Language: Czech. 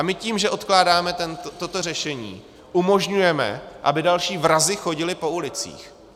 A my tím, že odkládáme toto řešení, umožňujeme, aby další vrazi chodili po ulicích.